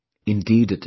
Indeed it is